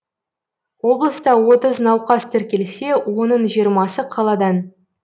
облыста отыз науқас тіркелсе оның жиырмасы қаладан